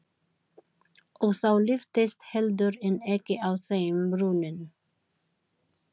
Og þá lyftist heldur en ekki á þeim brúnin.